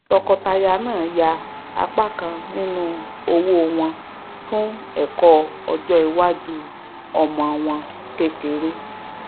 tọọkọtaya náà yà apá kan nínú owó wọn fún ẹkọ ọjọiwájú ọmọ wọn kékeré